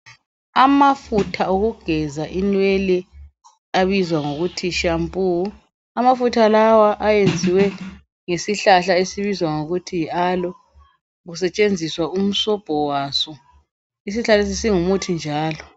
Amafutha okugeza inwele abizwa ngokuthi shampoo, amafutha lawa ayenziwe ngesihlahla esibizwa ngokuthi yi alo kusetshenziswa umsobho waso isihlahla lesi singumuthi njalo.